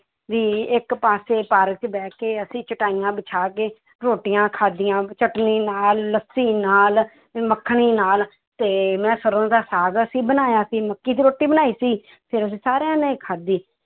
ਵੀ ਇੱਕ ਪਾਸੇ ਪਾਰਕ 'ਚ ਬੈਠ ਕੇ ਅਸੀਂ ਚਟਾਈਆਂ ਵਿਸ਼ਾ ਕੇ ਰੋਟੀਆਂ ਖਾਧੀਆਂ, ਚਟਣੀ ਨਾਲ, ਲੱਸੀ ਨਾਲ, ਮੱਖਣੀ ਨਾਲ ਤੇ ਮੈਂ ਸਰੋਂ ਦਾ ਸਾਗ ਅਸੀਂ ਬਣਾਇਆ ਸੀ, ਮੱਕੀ ਦੀ ਰੋਟੀ ਬਣਾਈ ਸੀ ਫਿਰ ਅਸੀਂ ਸਾਰਿਆਂ ਨੇ ਖਾਧੀ